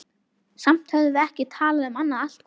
Samt höfðum við ekki talað um annað allt kvöldið.